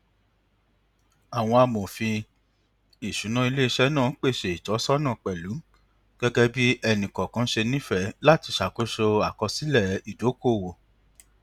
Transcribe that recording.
àwọn amòfin iṣuna iléiṣẹ náà pèsè ìtọsọnà pẹlú gẹgẹ bí ẹni kọọkan ṣe nífẹe láti ṣàkóso àkósílẹ ìdokoowó